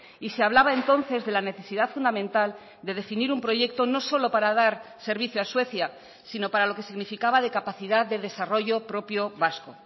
y se hablaba entonces de la necesidad fundamental de definir un proyecto no solo para dar servicio a suecia sino para lo que significaba de capacidad de desarrollo propio vasco